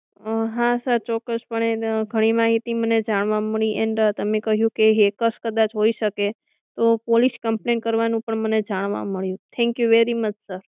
અમ હા સર કોક્ક્સ પણે ઘણી માહિતી મને જાણવા મળી એન્ડ તમે કહ્યું કે કદાચ હોઈ શકે તો પોલીસ કમ્પ્લેન કરવાનું પણ મને જાણવા મળ્યું Thank you very much sir